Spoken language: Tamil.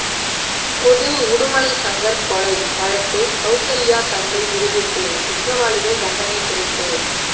பொது உடுமலை சங்கர் கொலை வழக்கு கவுசல்யா தந்தை விடுவிப்பு குற்றவாளிகள் தண்டனை குறைப்பு